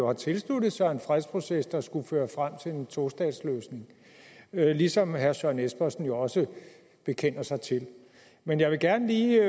har tilsluttet sig en fredsproces der skulle føre frem til en tostatsløsning ligesom herre søren espersen jo også bekender sig til men jeg vil gerne lige